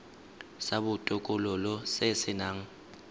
sa botokololo se se nang